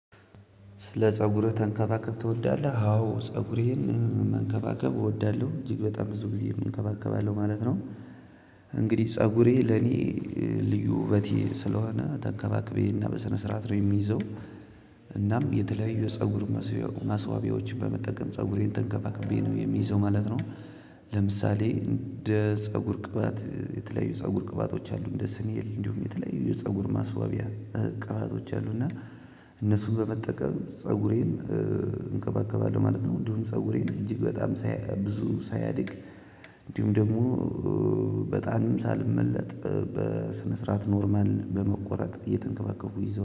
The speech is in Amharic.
ስለ ፀጉርህ ተንከባከብ ትወዳለህ? አዎ ፀጉሬን መንከባከብ እወዳለሁ እጅግ በጣም ብዙ ጊዜ እንከባከባለሁ ማለት ነው። እንግዲህ ፀጉሬ ለኔ ልዩ ውበቴ ስለሆነ ተንከባክቤ እና በስነ ስርዓት ነው የሚይዘው። እናም የተለያዩ የፀጉር ማስዋቢያዎችን በመጠቀም ፀጉሬን ተንከባክቤ ነው የሚይዘው ማለት ነው። ለምሳሌ እንደ ፀጉር ቅባት የተለያዩ ፀጉር ቅባቶች አሉ እንደ ስኔል እንዲሁም የተለያዩ የፀጉር ማስዋቢያ ቅባቶች አሉ። እና እነሱን በመጠቀም ፀጉሬን እንከባከባለሁ ማለት ነው። እንዲሁም ፀጉሬን እጅግ በጣም ብዙ ሳያድግ እንዲሁም ደግሞ በጣም ሳልመለጥ በስነ ስርዓት ኖርማል በመቆረጥ እየተንከባከብሁ